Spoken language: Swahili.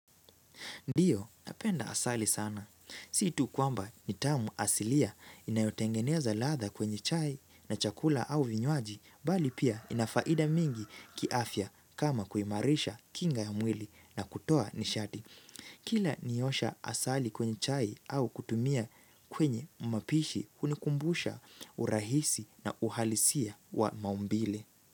Ndio napenda asali sana. Si tu kwamba ni tamu asilia inayotengeneza ladha kwenye chai na chakula au vinywaji bali pia ina faida mingi kiafya kama kuimarisha kinga ya mwili na kutoa nishati. Kila niosha asali kwenye chai au kutumia kwenye mapishi hunikumbusha urahisi na uhalisia wa maumbile.